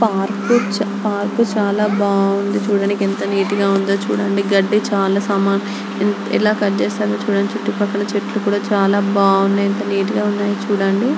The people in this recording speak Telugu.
పార్క్ పార్క్ చాలా బాగుంది చుడండి. చూడటానికి ఎంత నీటుగా ఉందొ . గడ్డి ఎలా కట్ చేశారో చుడండి. చుట్టూ పక్కన చెట్లు కూడా చాలా బాగున్నాయి ఎంత నీటుగా ఉన్నాయో చుడండి.